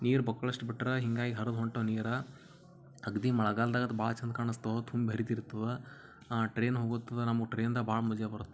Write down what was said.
ನೀರ ಬಕ್ಕುಲಸ್ತು ಬಿಟ್ಟರ ಹಿಂಗಾಗಿ ಹರದ್ ಹೊಂಟಾವ್ ನೀರ ಅಗದಿ ಮಳಗಾಲ್ದಾಗ ಅದು ಭಾರಿ ಚಂದ ಕಾಣಸ್ತಾವ್ ತುಂಬ ಹರಿತಿತ್ತದ ಟ್ರೆನ್ ಹೋಗತದ್ ನಮಗ್ ಭಾಳ ಮಜಾ ಬರ್ತಾದ್.